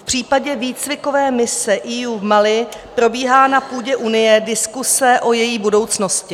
V případě výcvikové mise EU v Mali probíhá na půdě Unie diskuse o její budoucnosti.